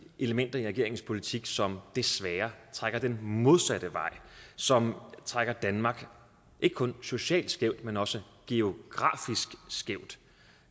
elementer i regeringens politik som desværre trækker den modsatte vej som trækker danmark ikke kun socialt skævt men også geografisk skævt